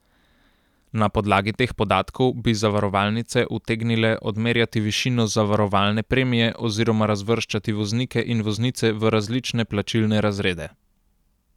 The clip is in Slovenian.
Na podlagi teh podatkov bi zavarovalnice utegnile odmerjati višino zavarovalne premije oziroma razvrščati voznike in voznice v različne plačilne razrede.